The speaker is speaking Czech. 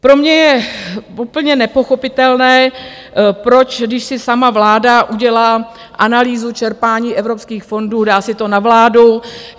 Pro mě je úplně nepochopitelné, proč, když si sama vláda udělá analýzu čerpání evropských fondů, dá si to na vládu.